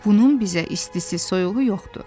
Bunun bizə istisi, soyuğu yoxdu.